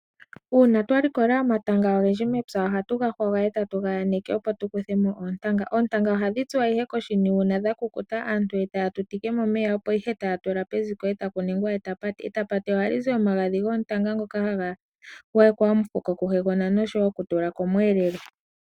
Uuna twalikola omatanga ogendji mepya oha tu ga hwaga eta tu ga yaneke opo tu kuthe mo oontanga. Oontanga ohadhi tsuwa ihe koshini uuna dha kukuta, aantu etaya tutike momeya opo ihe taya tula peziko eta pu ningwa etapati. Etapati oha li zi omagadhi goontanga ngoka ha ga gwayekwa omufuko ku hegona osho wo oku tula komwelelo.